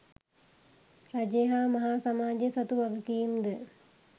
රජය හා මහා සමාජය සතු වගකීම් ද